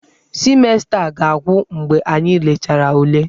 Simesta a ga-agwụ mgbe anyị lechara ule.